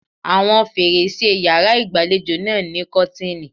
Àwọn fèrèsé e yàrá ìgbàlejò náà ní kọ́tìnì.